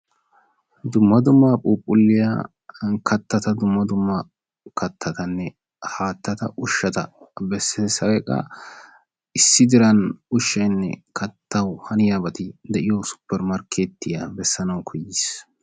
Dumma dumma phuupgulliya kattata dumma dumma kattatanne haattata ushshada beessiis, hay qa issi diran ushshawunne kattaw haniyabay de'iyo suppermarkketiya bessanaw koyyiis.